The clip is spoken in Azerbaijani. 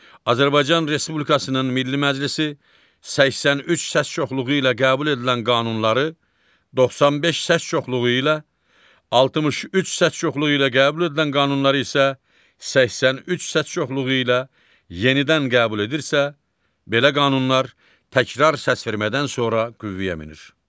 Azərbaycan Respublikasının Milli Məclisi 83 səs çoxluğu ilə qəbul edilən qanunları 95 səs çoxluğu ilə, 63 səs çoxluğu ilə qəbul edilən qanunları isə 83 səs çoxluğu ilə yenidən qəbul edirsə, belə qanunlar təkrar səsvermədən sonra qüvvəyə minir.